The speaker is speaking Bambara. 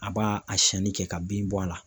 A b'a a siyɛnni kɛ ka bin bɔ a la.